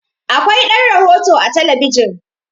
Akwai ɗan rohoto a talabijin